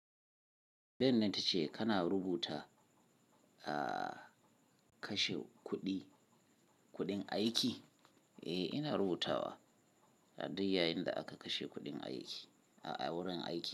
Tambayan tace kana rubuta, kashe kuɗi, kuɗin aiki? Eh, ina rubutawa. A duk yayinda aka kashe kuɗin aiki, ah, wurin aiki.